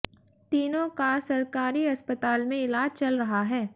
तीनों का सरकारी अस्पताल में इलाज चल रहा है